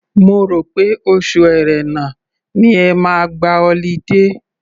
Má rò pé oṣù Ẹ̀rẹnà ni ẹ máa gba ọlidé.